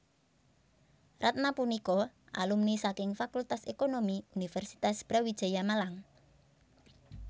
Ratna punika alumni saking Fakultas Ekonomi Universitas Brawijaya Malang